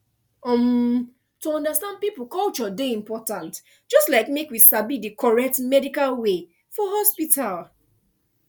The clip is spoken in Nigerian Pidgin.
umm to understand people culture dey important just like make we sabi the correct medical way for hospital